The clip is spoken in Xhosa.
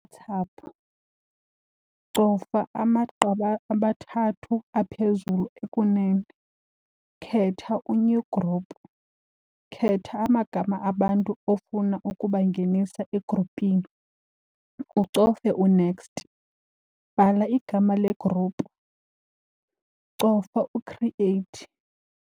Cofa amagqabi amathathu aphezulu ekunene, khetha u-new group. Khetha amagama abantu ofuna ukubangenisa egrupini ucofe u-next. Bhala igama le-group, cofa u-create.